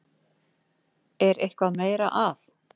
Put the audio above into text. Er eitthvað meira að?